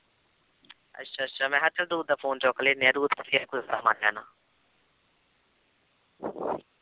ਅੱਛਾ ਅੱਛਾ ਮੈਂ ਕਿਹਾ ਚੱਲ ਤੁੰ ਤਾਂ phone ਚੁੱਕ ਲੈਨੀ ਆਂ ਤੂੰ ਤੇ ਫਿਰ ਗੁੱਸਾ ਮਨ ਜਾਣਾ